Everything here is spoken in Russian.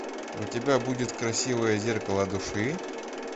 у тебя будет красивое зеркало души